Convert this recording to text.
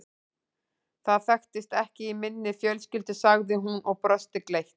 Það þekkist ekki í minni fjölskyldu sagði hún og brosti gleitt.